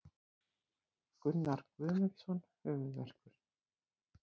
Gunnar Guðmundsson Höfuðverkur.